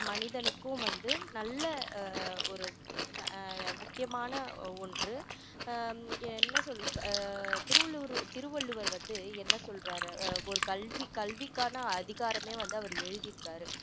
மனிதனுக்கும் வந்து நல்ல ஆஹ் ஒரு அஹ் முக்கியமான ஒன்று ஹம் என்ன சொல்ல ஆஹ் திருவள்ளுவர் திருவள்ளுவர் வந்து என்ன சொல்றாரு ஆஹ் ஒரு கல்வி கல்விக்கான அதிகாரமே வந்து அவரு எழுதியிருக்காரு